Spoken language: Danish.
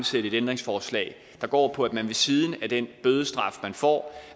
stille et ændringsforslag der går på at man ved siden af den bødestraf man får